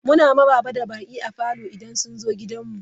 Muna maraba da baƙi a falo idan sun zo gidanmu.